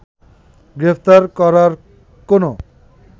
গ্রেফতার করার কোনো